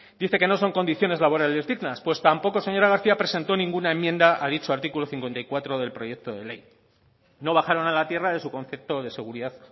dice que no son condiciones laborales dignas pues tampoco señora garcía presentó ninguna enmienda a dicho artículo cincuenta y cuatro del proyecto de ley no bajaron a la tierra de su concepto de seguridad